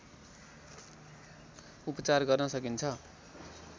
उपचार गर्न सकिन्छ